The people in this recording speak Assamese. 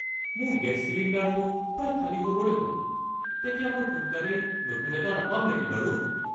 মোৰ গেছ চিলিণ্ডাৰটো প্ৰায় খালী হ'বৰে হ'ল। তেতিয়া মই সোনকালেই নতুন এটা নাপাম নেকি বাৰু? (গ্ৰাহক)